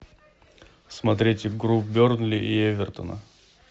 смотреть игру бернли и эвертона